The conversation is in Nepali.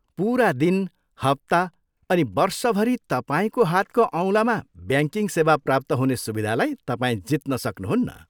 पुरा दिन, हप्ता अनि वर्षभरि तपाईँको हातको औँलामा ब्याङ्किङ सेवा प्राप्त हुने सुविधालाई तपाईँ जित्न सक्नुहुन्न।